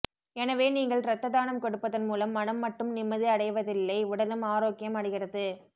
எனவே நீங்கள் ரத்த தானம் கொடுப்பதன் மூலம் மனம் மட்டும் நிம்மதி அடைவதில்லை உடலும் ஆரோக்கியம் அடைகிறது